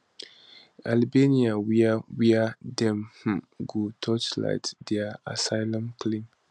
albania wia wia dem um go torchlight dia asylum claims